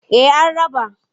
Eh an raba.